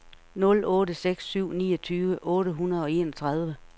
nul otte seks syv niogtyve otte hundrede og enogtredive